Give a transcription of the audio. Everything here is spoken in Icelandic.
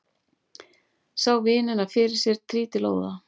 Sá vinina fyrir sér trítilóða.